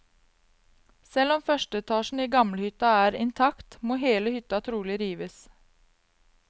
Selv om første etasjen i gamlehytta er intakt, må hele hytta trolig rives.